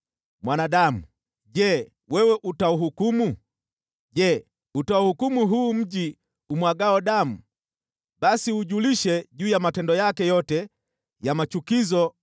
“Mwanadamu, je, wewe utauhukumu? Je, utauhukumu huu mji umwagao damu? Basi uujulishe juu ya matendo yake yote ya machukizo